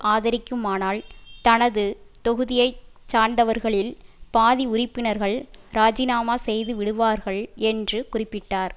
ஆதரிக்குமானால் தனது தொகுதியை சார்ந்தவர்களில் பாதி உறுப்பினர்கள் ராஜிநாமா செய்து விடுவார்கள் என்று குறிப்பிட்டார்